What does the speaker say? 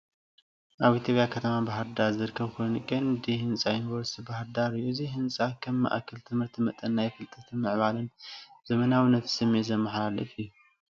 ኣብ ኢትዮጵያ ከተማ ባህርዳር ዝርከብ ኮይኑ፡ ቀንዲ ህንጻ ዩኒቨርሲቲ ባህርዳር እዩ። እዚ ህንጻ ከም ማእከል ትምህርቲ መጠን ናይ ፍልጠት፡ ምዕባለን ዘመናዊነትን ስምዒት ዘመሓላልፍ እዩ።